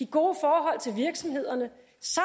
gode forhold til virksomhederne